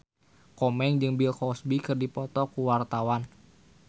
Komeng jeung Bill Cosby keur dipoto ku wartawan